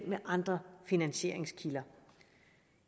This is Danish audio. med andre finansieringskilder